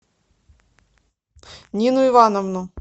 нину ивановну